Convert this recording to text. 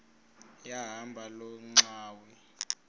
yahamba loo ngxwayi